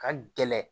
Ka gɛlɛn